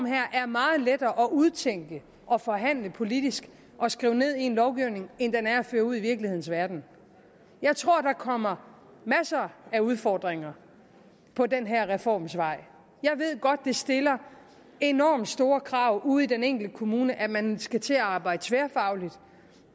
er meget at udtænke og forhandle politisk og skrive ned i en lovgivning end den er at føre ud i virkelighedens verden jeg tror der kommer masser af udfordringer på den her reforms vej jeg ved godt det stiller enormt store krav ude i den enkelte kommune at man skal til at arbejde tværfagligt